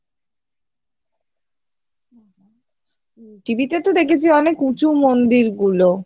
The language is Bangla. TV তে তো দেখেছি অনেক উচুঁ মন্দির গুলো